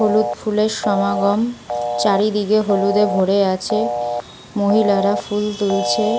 হলুদ ফুল এর সমাগম চারিদিকে হলুদ এ ভরে আছে মহিলারা ফুল তুলছে।